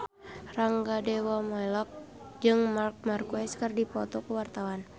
Rangga Dewamoela jeung Marc Marquez keur dipoto ku wartawan